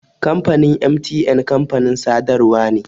Kamfanin MTN kamfanin sadarwa ne.